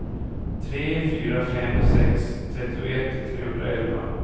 tre fyra fem sex trettioett trehundraelva